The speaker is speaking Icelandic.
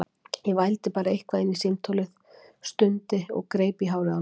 Ég vældi bara eitthvað inn í símtólið, stundi og greip í hárið á mér.